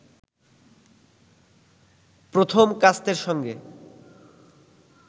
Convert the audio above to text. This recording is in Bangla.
প্রথম কাস্তের সঙ্গে